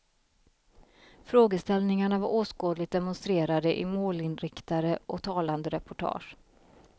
Frågeställningarna var åskådligt demonstrerade i målinriktade och talande reportage.